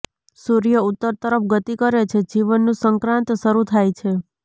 સૂર્ય ઉત્તર તરફ ગતિ કરે છે જીવનનું સંક્રાંત શરૂ થાય છે